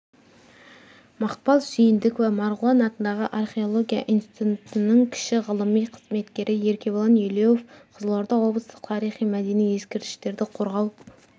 мақпал сүйіндікова марғұлан атындағы археология институтының кіші ғылыми қызметкері еркебұлан елеуов қызылорда облыстық тарихи-мәдени ескерткіштерді қорғау